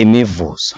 imivuzo.